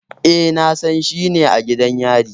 Eh, Nasan shi ne a gidan yari